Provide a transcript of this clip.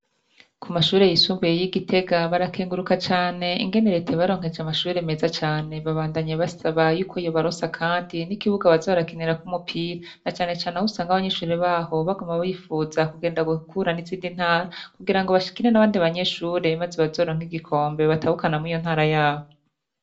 Ku mashure yisumbuye y'i Gitega, barakenguruka cane ingene Leta yabaronkeje amashure meza cane. Babandanya basaba yuko yobaronsa kandi n'ikibuga baza barakinirako umupira; na cane cane aho usanga abanyeshure baho baguma bipfuza kugenda guhura n'izindi ntara kugira ngo bakine n'abandi banyeshure maze bazoronke igikombe batahukana muri iyo ntara yabo.